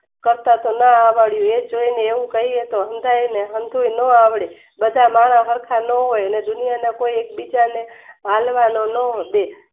કરતા કમાવા વાળાને એમ કહે છે ન આવડે બધા નવા સરખા ને દુનિયા ના કોઈ હળવાના ન હોય